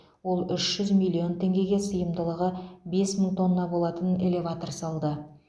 ол үш жүз миллион теңгеге сыйымдылығы бес мың тонна болатын элеватор салды